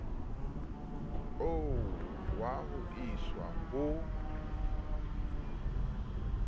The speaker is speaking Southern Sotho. oo wa ho iswa ha